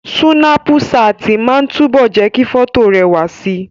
Súnápù ṣáàtì máa ń túbọ̀ jẹ́ kí fọ́tò rẹwà si